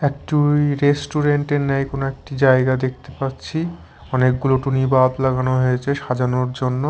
একটুই restaurant -এর ন্যায় কোনো একটি জায়গা দেখতে পাচ্ছি অনেকগুলো টুনি বাল্প লাগানো হয়েছে সাজানোর জন্য।